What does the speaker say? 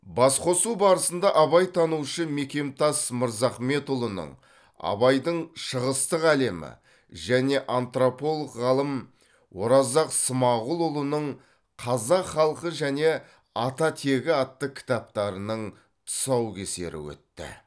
басқосу барысында абайтанушы мекемтас мырзахметұлының абайдың шығыстық әлемі және антрополог ғалым оразақ смағұлұлының қазақ халқы және ата тегі атты кітаптарының тұсаукесері өтті